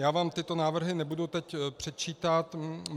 Já vám tyto návrhy nebudu teď předčítat.